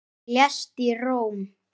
Hann lést í Róm.